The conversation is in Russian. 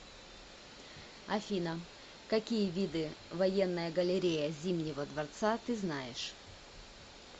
афина какие виды военная галерея зимнего дворца ты знаешь